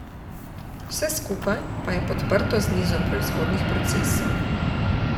Vse skupaj pa je podprto z nizom proizvodnih procesov.